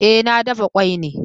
Eh, na dafa kwai ne